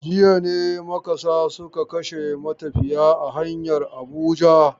Jiya ne makasa suka kashe matafiya a hanyar Abuja.